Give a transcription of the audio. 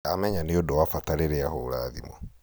ndamenya nĩ ũndũ wa bata rĩrĩa ahũũra thimũ